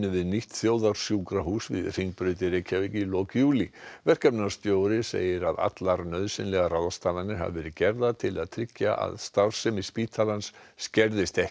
við nýtt þjóðarsjúkrahús við Hringbraut í lok júlí verkefnastjóri segir að allar nauðsynlegar ráðstafanir hafi verið gerðar til að tryggja að starfsemi spítalans skerðist ekki